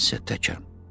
Mən isə təkəm.